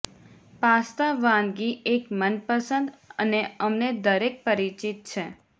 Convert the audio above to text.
pasta વાનગી એક મનપસંદ અને અમને દરેક પરિચિત છે